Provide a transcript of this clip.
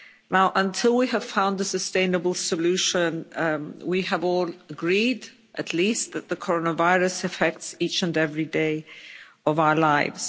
Now until we have found a sustainable solution, we have all agreed at least that the coronavirus affects each and every day of our lives.